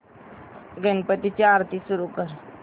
गणपती ची आरती सुरू कर